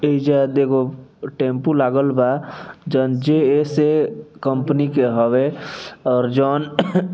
इ जा देगो टैम्पू लागल बा जोवन जे.एस.ए कंपनी के हवे और जोन --